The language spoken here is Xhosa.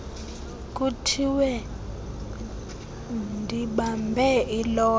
kuthiwe ndibambe ilotho